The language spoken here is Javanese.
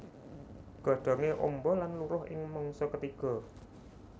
Godhongé amba lan luruh ing mangsa ketiga